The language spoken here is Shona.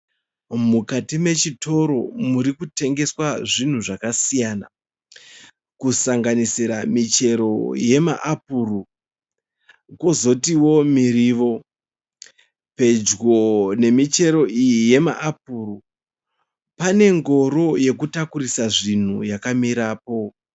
Mukati mechitoro murikutengeswa zvinhu zvakasiyana. Kusanganisira michero yema apuru, kozotiwo muriwo. Pedyo nemichero yama apuru pane ngoro yekutakurisa zvinhu yakamirapo.